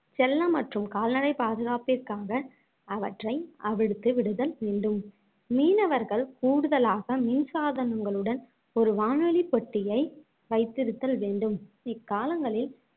செல்ல மற்றும் கால்நடை பாதுகாப்பிற்காக அவற்றை அவிழ்த்து விடுதல் வேண்டும் மீனவர்கள் கூடுதலாக மின்சாதனங்களுடன் ஒரு வானொலிப்பெட்டியை வைத்திருத்தல் வேண்டும் இக்காலங்களில்